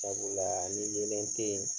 Sabula ni yeelen te ye